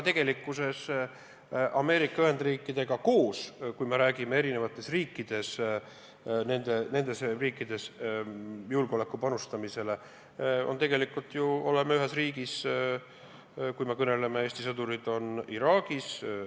Tegelikkuses Ameerika Ühendriikidega koos – kui me räägime eri riikides julgeolekusse panustamisest – me oleme ühes riigis: Eesti sõdurid on Iraagis.